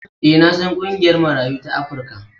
E, na san ƙungiyar Marayu ta Afrika.